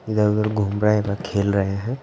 इधर-उधर घूम रहे है व खेल रहे है।